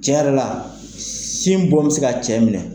Tiɲɛ yɛrɛ la sin, bɔn bɛ se ka cɛ minɛ.